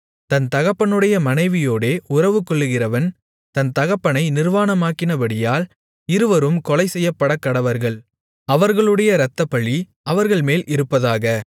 தன் தகப்பனுடைய மனைவியோடே உறவுகொள்கிறவன் தன் தகப்பனை நிர்வாணமாக்கினபடியால் இருவரும் கொலைசெய்யப்படக்கடவர்கள் அவர்களுடைய இரத்தப்பழி அவர்கள்மேல் இருப்பதாக